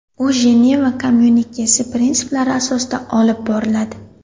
U Jeneva kommyunikesi prinsiplari asosida olib boriladi.